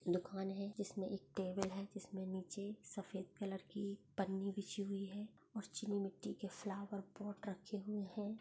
दुकान है जिसमे एक टेबल है जिसमे नीचे सफ़ेद कलर की पन्नी बिछी हुई है और चीनी मिट्टी के फ्लावर पॉट रखे हुए है।